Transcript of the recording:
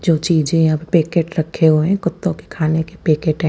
जो चीज़े यहाँ पर पैकेट रखे हुए है कुत्तो के खाने के पैकेट है।